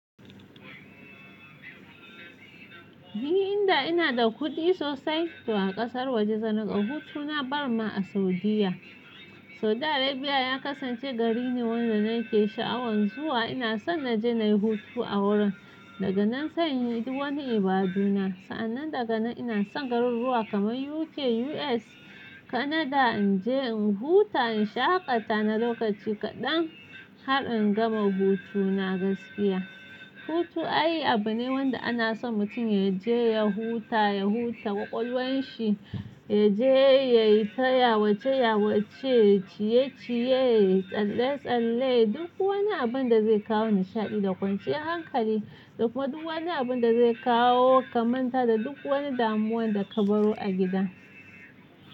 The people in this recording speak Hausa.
Ni inda ina da kuɗi sosai, to a ƙasar waje zan ga hutu na barinma a Saudiyya. Saudi Arabia ya kasance gari ne wanda na ke sha'awan zuwa. Ina son na je na yi hutu a wurin daga nan sai na yi wani ibaduna. Sa'annan daga nan ina son garuruwa kamar UK, US, Canada in je in huta in shaƙata na lokaci kaɗan har in gama hutuna gaskiya. Hutu ai abu ne wanda ana son mutum ya je ya huta, ya huta ƙwaƙwalwan shi, ya je ya yi tayawa, ceyawace, ciye-ciye, tsalle-tsalle, duk wani abin da zai kawo nishaɗi da kwanciyar hankali da kuma duk wani abin da zai kawo kamanta da duk wani damuwan da ka baro a gida.